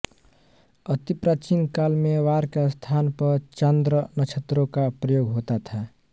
अति प्राचीन काल में वार के स्थान पर चांद्र नक्षत्रों का प्रयोग होता था